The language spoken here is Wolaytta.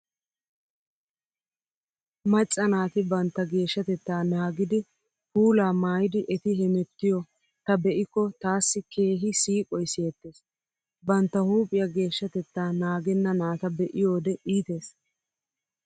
Macca naati bantta geeshshatettaa naagidi puulaa maayidi eti hemettiyo ta be'ikko taassi keehi siiqoy siyettees. Bantta huuphiyaa geeshshatettaa naagenna naata be'iyoode iitees.